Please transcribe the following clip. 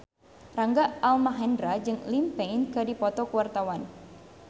Rangga Almahendra jeung Liam Payne keur dipoto ku wartawan